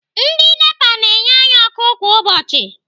Ndị Nepa na-enye anyị ọkụ kwa ụbọchị.